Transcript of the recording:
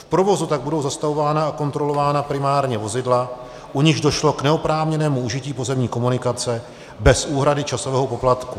V provozu tak budou zastavována a kontrolována primárně vozidla, u nichž došlo k neoprávněnému užití pozemní komunikace bez úhrady časového poplatku.